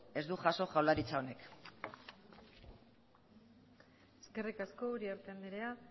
ez du jaso jaurlaritza honek eskerrik asko uriarte andrea